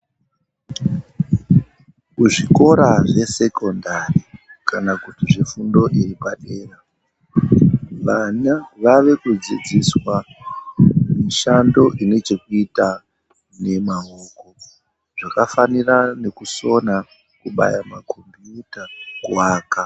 Kuzvikora zvesekondari kana kuti zvefundo yepadera, vana vave kudzidziswa mishando inechekuita nemaoko, zvakafanira nekusona kubaya makhombiyuta, kuwaka.